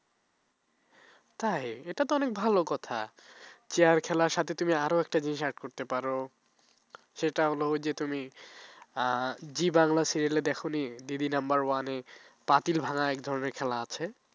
তাই এটা তো অনেক ভালো কথা chair খেলার সাথে তুমি আরো একটা জিনিস add করতে পারো সেটা হলো ওই যে তুমি জি বাংলা serial দেখো নি দিদি নাম্বার ওয়ানে পাতিল ভাঙ্গা এক ধরনের খেলা আছে